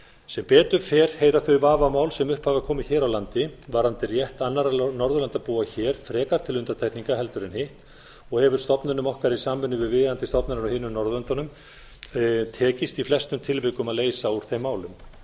sem betur fer heyra þau vafamál sem upp hafa komið hér á landi varðandi rétt annarra norðurlandabúa hér frekar til undantekninga heldur en hitt og hefur stofnunum okkar í samvinnu við viðeigandi stofnanir á hinum norðurlöndunum tekist í flestum tilvikum að leysa úr þeim málum